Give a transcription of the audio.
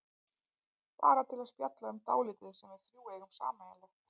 Bara til að spjalla um dálítið sem við þrjú eigum sameiginlegt.